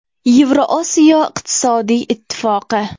Yevrosiyo iqtisodiy ittifoqi.